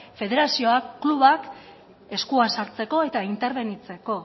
federazioak klubak eskua sartzeko eta interbenitzeko